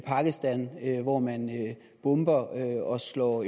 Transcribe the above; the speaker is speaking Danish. pakistan hvor man bomber og slår